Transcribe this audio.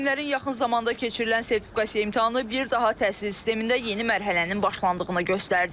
Müəllimlərin yaxın zamanda keçirilən sertifikasiya imtahanı bir daha təhsil sistemində yeni mərhələnin başlandığını göstərdi.